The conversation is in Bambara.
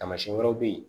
Taamasiyɛn wɛrɛw bɛ ye